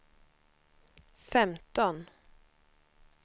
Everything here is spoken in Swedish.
femton